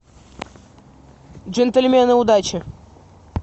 джентльмены удачи